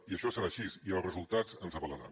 i això serà així i els resultats ens avalaran